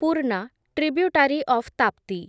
Purna, tributary of Tapti